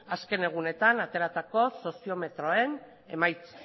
azken egunetan ateratako soziometroen emaitzak